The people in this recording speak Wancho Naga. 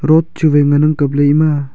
road chu wai ngan ang kapley ema.